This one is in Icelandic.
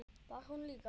Var hún líka?